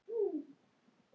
Hann sagði